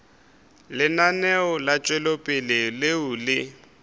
lenaneo la tšwetšopele leo le